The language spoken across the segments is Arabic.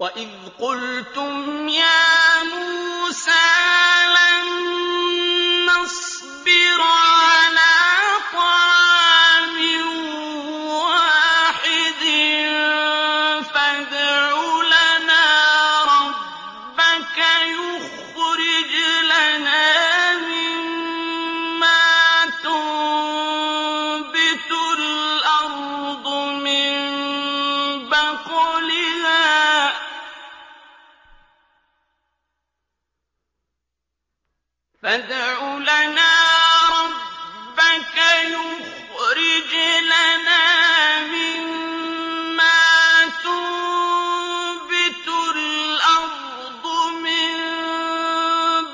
وَإِذْ قُلْتُمْ يَا مُوسَىٰ لَن نَّصْبِرَ عَلَىٰ طَعَامٍ وَاحِدٍ فَادْعُ لَنَا رَبَّكَ يُخْرِجْ لَنَا مِمَّا تُنبِتُ الْأَرْضُ مِن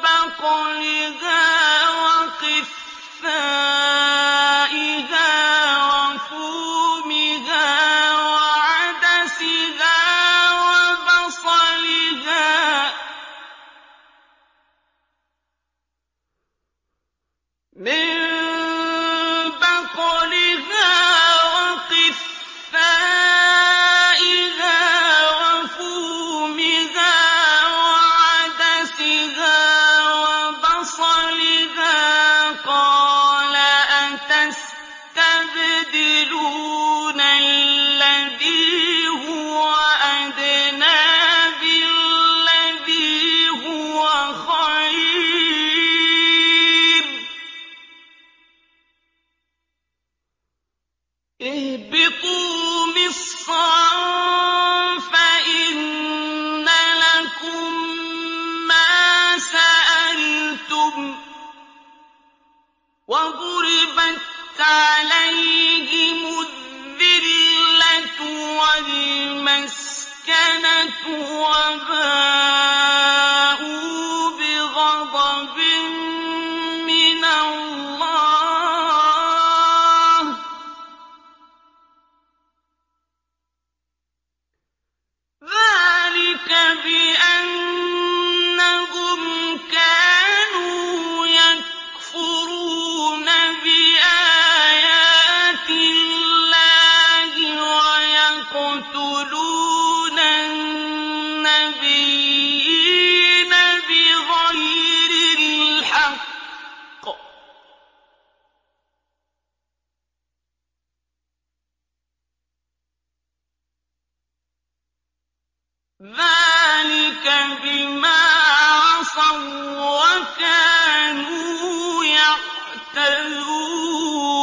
بَقْلِهَا وَقِثَّائِهَا وَفُومِهَا وَعَدَسِهَا وَبَصَلِهَا ۖ قَالَ أَتَسْتَبْدِلُونَ الَّذِي هُوَ أَدْنَىٰ بِالَّذِي هُوَ خَيْرٌ ۚ اهْبِطُوا مِصْرًا فَإِنَّ لَكُم مَّا سَأَلْتُمْ ۗ وَضُرِبَتْ عَلَيْهِمُ الذِّلَّةُ وَالْمَسْكَنَةُ وَبَاءُوا بِغَضَبٍ مِّنَ اللَّهِ ۗ ذَٰلِكَ بِأَنَّهُمْ كَانُوا يَكْفُرُونَ بِآيَاتِ اللَّهِ وَيَقْتُلُونَ النَّبِيِّينَ بِغَيْرِ الْحَقِّ ۗ ذَٰلِكَ بِمَا عَصَوا وَّكَانُوا يَعْتَدُونَ